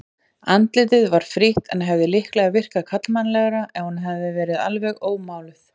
Andlitið var frítt en hefði líklega virkað karlmannlegt ef hún hefði verið alveg ómáluð.